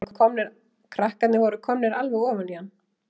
Krakkarnir voru komnir alveg ofan í hann.